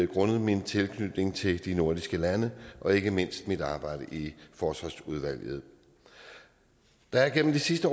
grundet min tilknytning til de nordiske lande og ikke mindst mit arbejde i forsvarsudvalget der er igennem de sidste